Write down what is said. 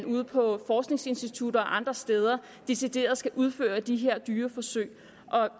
ude på forskningsinstitutter og andre steder hvor decideret skal udføre de her dyreforsøg